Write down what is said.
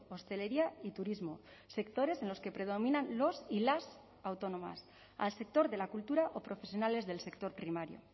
hostelería y turismo sectores en los que predominan los y las autónomas al sector de la cultura o profesionales del sector primario